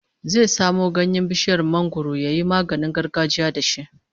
Zai samo ganyen bishiyar mangwaro yayi maganin gargajiya da shi